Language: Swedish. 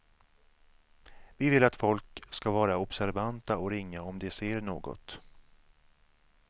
Vi vill att folk ska vara observanta och ringa om de ser något.